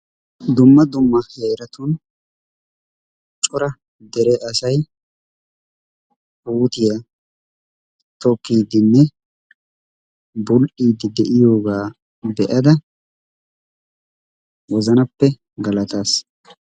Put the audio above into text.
Dumma dumma heeratun cora dere asayi puutiya tokkiiddinne bull"iiddi de"iyogaa be"ada wozanappe galataas.